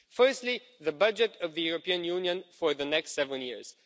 Firstly, the budget of the European Union for the next seven years.